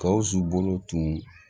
Gawusu bolo tun